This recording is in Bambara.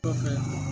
Kɔfɛ